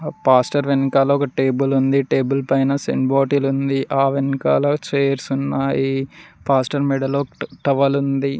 Pastor వెనకాల ఒక table ఉంది టేబుల్ పైన సెంట్ బాటిల్ ఉంది ఆ వెనకాల చేయిర్స్ ఉన్నాయి పాస్టర్ మెడలో టవల్ ఉంది.